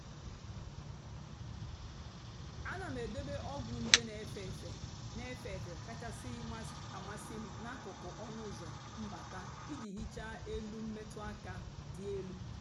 àna m èdòbé ọ́gwụ́ njè na-èfé èfé na-èfé èfé kachásị́ àmasị́ m n’àkụ́kụ́ ọnụ́ ụ́zọ́ mbátà ìjì hìchaa èlù mmètụ́ àka dị́ èlù.